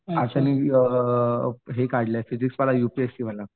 Actually uh हे काढलंय physics वाला यूपीएससी वाला.